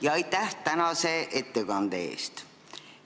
Ja aitäh tänase ettekande eest!